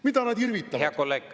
Mida nad irvitavad?!